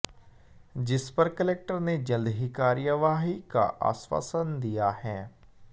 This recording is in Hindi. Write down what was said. जिस पर कलेक्टर ने जल्द ही कार्यवाही का आश्वासन दिया है